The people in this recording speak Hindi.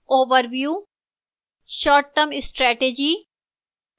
overview